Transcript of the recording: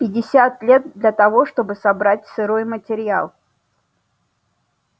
пятьдесят лет для того чтобы собрать сырой материал